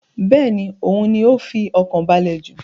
Bẹ́ẹ̀ni, òhun ni ó fi ọkàn balẹ̀ jù.